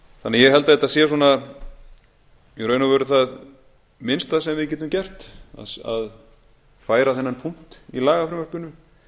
ég held því að þetta sé í raun og veru það minnsta sem við getum gert að færa þennan punkt í lagafrumvarpinu